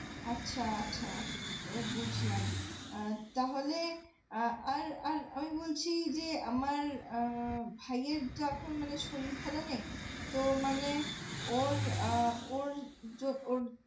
আচ্ছা আচ্ছা এবার বুজলাম আহ তাহলে আহ আর আমি বলছি যে আমার আহ ভাইএর যখন মানে শরীর খারাপ হবে তো মানে ওর আহ ওর যখন